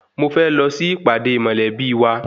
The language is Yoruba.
Mo fẹ́ lọ sí ìpàdé mọ̀lẹ́bí wa.